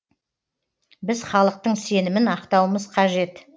біз халықтың сенімін ақтауымыз қажет